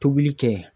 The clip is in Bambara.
Tobili kɛ yen